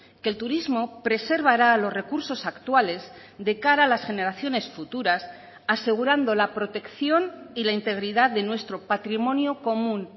que el turismo preservará los recursos actuales de cara a las generaciones futuras asegurando la protección y la integridad de nuestro patrimonio común